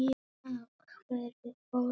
Af hverju fórstu?